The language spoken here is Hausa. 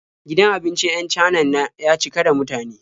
Gidan abincin 'yan Canan na ya cika da mutane.